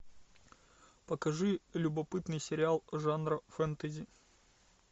покажи любопытный сериал жанра фэнтези